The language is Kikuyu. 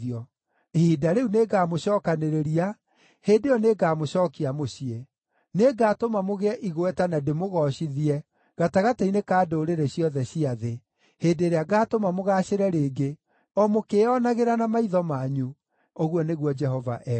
Ihinda rĩu nĩngamũcookanĩrĩria; hĩndĩ ĩyo nĩngamũcookia mũciĩ. Nĩngatũma mũgĩe igweta na ndĩmũgoocithie gatagatĩ-inĩ ka ndũrĩrĩ ciothe cia thĩ, hĩndĩ ĩrĩa ngaatũma mũgaacĩre rĩngĩ, o mũkĩĩonagĩra na maitho manyu,” ũguo nĩguo Jehova ekuuga.